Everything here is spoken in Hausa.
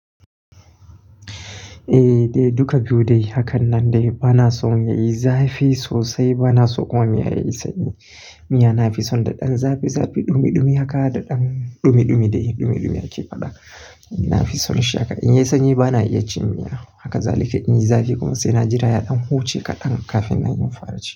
Eh duka biyu dai. Hakan nan bana son yayi zafi sosai, bana so kuma miya yayi sanyi. Miya nafi son daɗin zafi zafi, ɗumi ɗumi haka da ɗan ɗumi ɗumi. Ɗumi ɗumi ake faɗa. Nafi son shi haka. In yayi sanyi bana iya cin miya. Haka zalika in yayi zafi kuma sai na jira ya ɗan huce kaɗan kafin nayi fara ci.